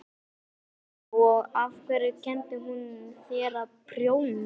Helga: Og af hverju kenndi hún þér að prjóna?